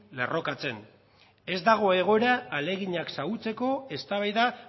lerrokatzen ez dago egoera ahaleginak xahutzeko eztabaida